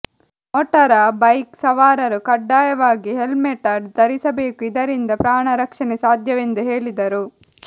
motor bike ಸವಾರರು ಕಡ್ಡಾಯವಾಗಿ helmet ಧರಿಸಬೇಕು ಇದರಿಂದ ಪ್ರಾಣ ರಕ್ಷಣೆ ಸಾಧ್ಯವೆಂದು ಹೇಳಿದರು